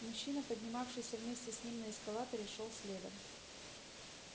мужчина поднимавшийся вместе с ним на эскалаторе шёл следом